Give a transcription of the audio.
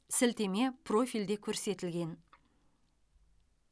сілтеме профильде көрсетілген